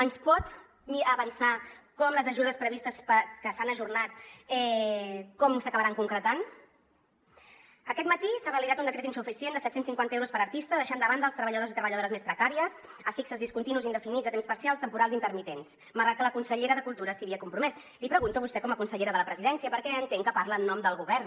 ens pot avançar com les ajudes previstes que s’han ajornat s’acabaran concretant aquest matí s’ha validat un decret insuficient de set cents i cinquanta euros per artista que deixa de banda els treballadors i treballadores més precàries fixes discontinus i indefinits a temps parcial temporals i intermitents malgrat que la consellera de cultura s’hi havia compromès l’hi pregunto a vostè com a consellera de la presidència perquè entenc que parla en nom del govern